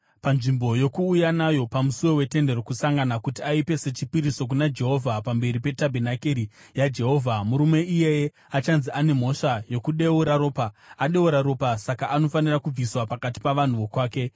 panzvimbo yokuuya nayo pamusuo weTende Rokusangana kuti aipe sechipiriso kuna Jehovha pamberi petabhenakeri yaJehovha, murume iyeye achanzi ane mhosva yokudeura ropa; adeura ropa saka anofanira kubviswa pakati pavanhu vokwake.